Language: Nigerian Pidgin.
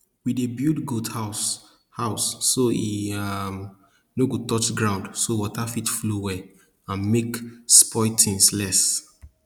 we dey build goat house house so e um no go touch ground so water fit flow well and make spoil things less